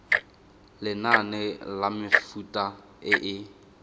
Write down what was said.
lenane la mefuta e e